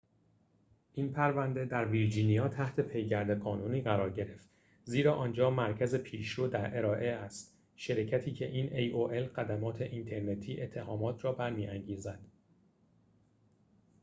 این پرونده در ویرجینیا تحت پیگرد قانونی قرار گرفت زیرا آنجا مرکز پیشرو در ارائه خدمات اینترنتی aol است شرکتی که این اتهامات را برمی‌انگیزد